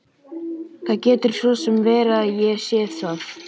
Það getur svo sem verið að ég sé það.